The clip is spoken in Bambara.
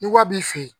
Ni ko a b'i fɛ yen